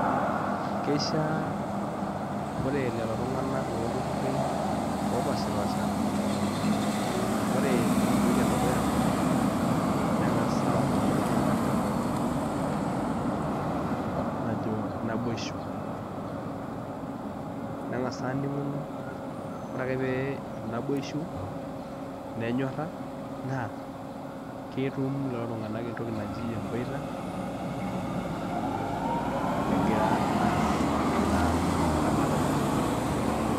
Keishia ore lelo tung'anak lolturruri opashipasha ore entoki edukuya neng'as atum entoki najo najo naboisho neng'as aning'uno ore ake pee etum naboisho nenyorra naa ketum lelo tung'anak entoki naji emboita egira aas ina ramatare.